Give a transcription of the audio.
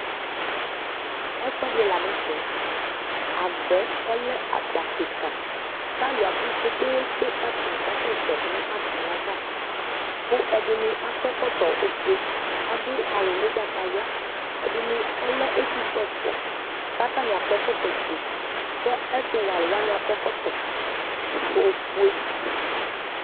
Ɛfʋɛdi lanʋtɛ agba yɛ ɔlɛ agba kika kʋ alʋ abʋ kpe kpe kpe kʋ atani kasɛsɛ nʋ atami ava kʋ ɛdini akɔ ɛkɔtɔ ofue adʋ awʋ ʋgbatawla ɛdini ɔlɛ ɛtʋfue ɛfʋa kʋ atani akɔ ɛkɔtɔfue kʋ ɛtʋwɛ alʋwani akɔ ɛkɔtɔ ofue